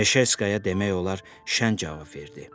Meşerskaya demək olar şən cavab verdi.